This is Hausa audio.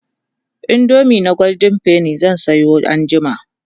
indomie na golden penny zan Sayo anjima